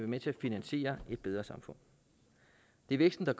med til at finansiere et bedre samfund det er væksten der